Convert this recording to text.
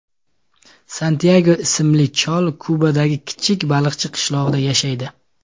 Santyago ismli chol Kubadagi kichik baliqchi qishlog‘ida yashaydi.